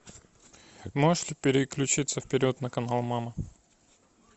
можешь переключиться вперед на канал мама